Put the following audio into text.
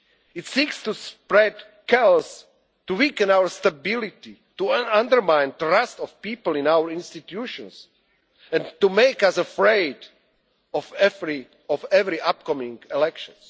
of our citizens. It seeks to spread chaos, to weaken our stability, to undermine the trust of people in our institutions, and to make us afraid of every